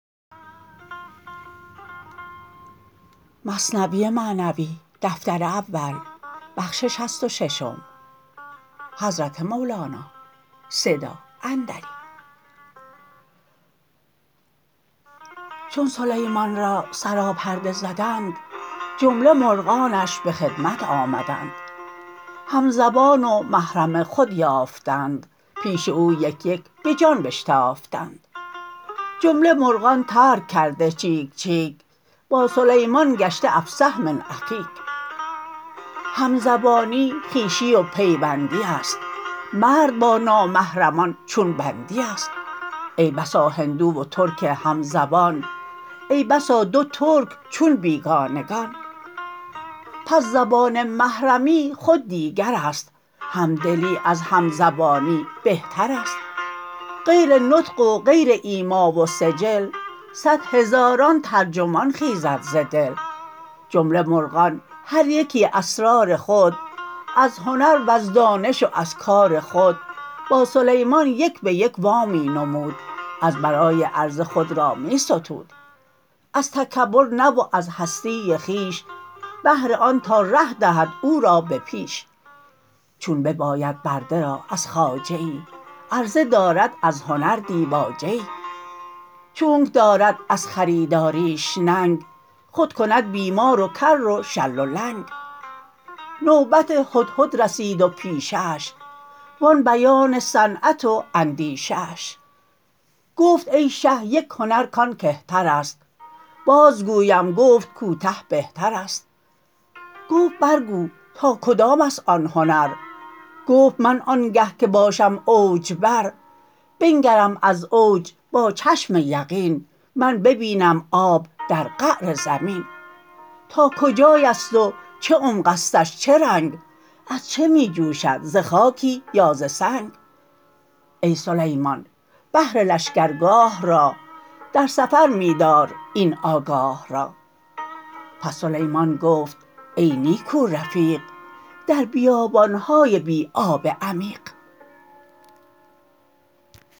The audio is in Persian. چون سلیمان را سراپرده زدند جمله مرغانش به خدمت آمدند هم زبان و محرم خود یافتند پیش او یک یک بجان بشتافتند جمله مرغان ترک کرده چیک چیک با سلیمان گشته افصح من اخیک همزبانی خویشی و پیوندی است مرد با نامحرمان چون بندی است ای بسا هندو و ترک همزبان ای بسا دو ترک چون بیگانگان پس زبان محرمی خود دیگرست همدلی از همزبانی بهترست غیر نطق و غیر ایما و سجل صد هزاران ترجمان خیزد ز دل جمله مرغان هر یکی اسرار خود از هنر وز دانش و از کار خود با سلیمان یک بیک وا می نمود از برای عرضه خود را می ستود از تکبر نه و از هستی خویش بهر آن تا ره دهد او را به پیش چون بباید برده را از خواجه ای عرضه دارد از هنر دیباجه ای چونک دارد از خریداریش ننگ خود کند بیمار و کر و شل و لنگ نوبت هدهد رسید و پیشه اش و آن بیان صنعت و اندیشه اش گفت ای شه یک هنر کان کهترست باز گویم گفت کوته بهترست گفت بر گو تا کدامست آن هنر گفت من آنگه که باشم اوج بر بنگرم از اوج با چشم یقین من ببینم آب در قعر زمین تا کجایست و چه عمقستش چه رنگ از چه می جوشد ز خاکی یا ز سنگ ای سلیمان بهر لشگرگاه را در سفر می دار این آگاه را پس سلیمان گفت ای نیکو رفیق در بیابانهای بی آب عمیق